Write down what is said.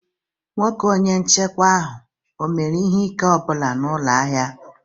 Nwoke Onye nchekwa ahụ ọ mere ihe ike ọ bụla n'ụlọ ahịa ụnyaahụ?